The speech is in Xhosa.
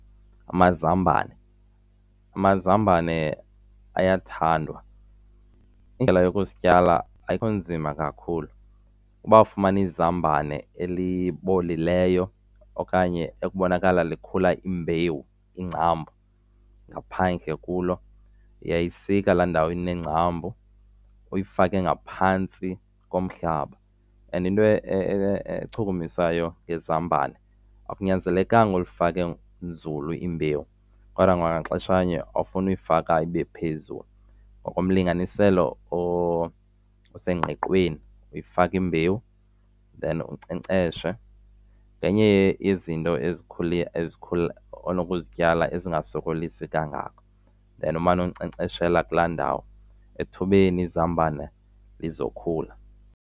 Amazambane, amazambane ayathandwa. Indlela yokusityala ayikho nzima kakhulu. Uba ufumana izambane elibolileyo okanye ekubonakala likhula imbewu, iingcambu ngaphandle kulo, uyayisika la ndawo ineengcambu uyifake ngaphantsi komhlaba. And into echukumisayo ngezambane akunyanzelekanga ulifake nzulu imbewu, kodwa kwangaxeshanye awufuni uyifaka ibe phezulu. Ngokomlinganiselo osengqiqweni uyifaka imbewu then unkcenkceshe. Ngenye yezinto ezikhula onokuzityala ezingasokolisi kangako. Then umane unkcenkceshela kulaa ndawo, ethubeni izambane lizokhula.